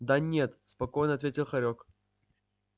да нет спокойно ответил хорёк